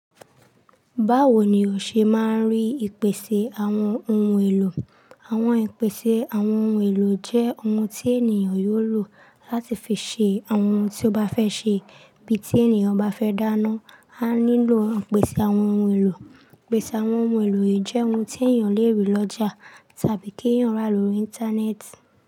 Báwo ni o ṣe máa ń rí ìpèsè àwọn ohun èlò? Àwọn ìpèsè àwọn ohun èlò jẹ́ ohun tí ènìyàn yóò lò láti fi ṣe àwọn ohun tí ó bá fẹ́ ṣe. Bí tí ènìyàn bá fẹ́ dáná, a nílò ìpèsè àwọn ohun èlò. Ìpèsè àwọn ohun èlò jẹ́ ohun tí ènìyàn lè rí lọ́jà tàbí kí èèyàn rà lórí Íńtánẹ́ẹ̀tì.